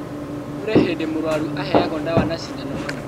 Kũrĩ hĩndĩ mũrũaru aheagwo ndawa na cindano hamwe